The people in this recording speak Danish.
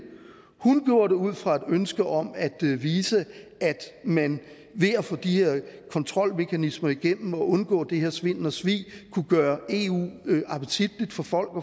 hun gjorde det ud fra et ønske om at vise at man ved at få de her kontrolmekanismer igennem og undgå den her svindel og svig kunne gøre eu appetitligt for folk og